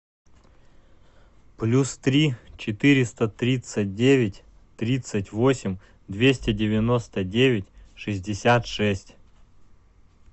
плюс три четыреста тридцать девять тридцать восемь двести девяносто девять шестьдесят шесть